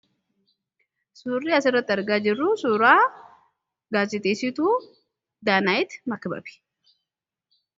suurri as irratti argaa jirru suuraa gaasixeessitu daanaa'iti makbabe